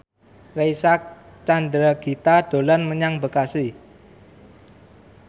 Reysa Chandragitta dolan menyang Bekasi